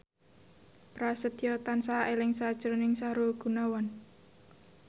Prasetyo tansah eling sakjroning Sahrul Gunawan